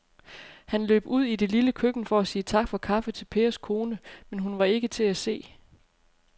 Han løb ud i det lille køkken for at sige tak for kaffe til Pers kone, men hun var ikke til at se.